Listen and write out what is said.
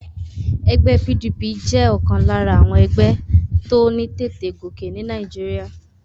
Egbé PDP jé òkan lára àwon egbé tó ní tètè gòkè ní Naíjiria